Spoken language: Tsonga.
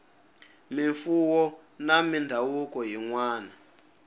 mimfuwo na mindhavuko yin wana